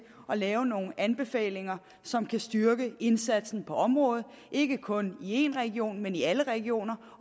lave nogle anbefalinger som kan styrke indsatsen på området ikke kun i én region men i alle regioner